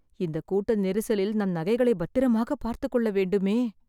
இந்தக் கூட்ட நெரிசலில் நம் நகைகளை பத்திரமாக பார்த்துக்கொள்ள வேண்டுமே